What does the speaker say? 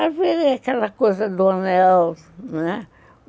A vida é aquela coisa do anel, né?